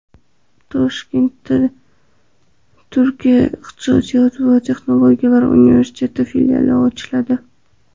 Toshkentda Turkiya Iqtisodiyot va texnologiyalar universiteti filiali ochiladi.